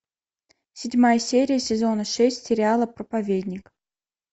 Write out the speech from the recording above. седьмая серия сезона шесть сериала проповедник